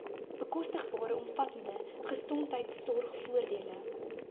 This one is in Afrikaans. bekostigbare omvattende gesondheidsorgvoordele